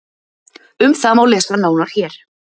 Um það má lesa nánar hér.